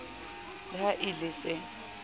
le ha e le se